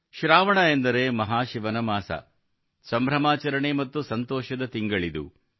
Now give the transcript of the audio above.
ಶ್ರಾವಣ ಎಂದರೆ ಮಹಾಶಿವನ ಮಾಸ ಸಂಭ್ರಮಾಚರಣೆ ಮತ್ತು ಸಂತೋಷದ ತಿಂಗಳಿದು